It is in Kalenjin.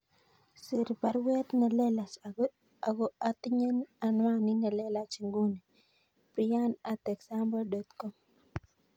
Sir baruet nelelach ago atinye anwanit nelelach inguni , Brian at example dot com